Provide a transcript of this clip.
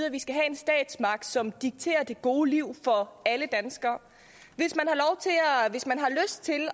at vi skal have en statsmagt som dikterer det gode liv for alle danskere hvis man